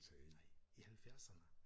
Nej i halvfjerdserne?